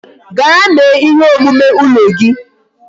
Gaa mee ihe omume ụlọ gị